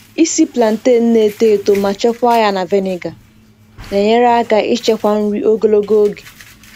Ịsi plantain na-eto eto ma chekwaa ya na vinegar na-enyere aka ichekwa nri ogologo oge.